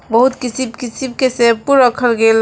बहुत किसीम किसीम के शैंपू रखल गइल --